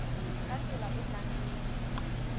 ka tsela e nang le